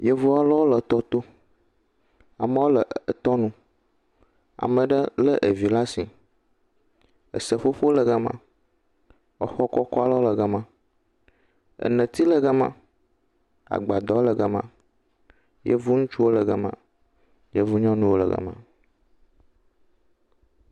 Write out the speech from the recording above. Yevu aɖewo le tɔ to. Amewo le tɔa nu. Ame aɖe lé vi ɖe asi. Seƒoƒo le gema, xɔ kɔkɔ aɖe le gema, neti le gema, agbadɔ le gema. Yevu ŋutsuwo le gema, yevu nyɔnuwo le gema.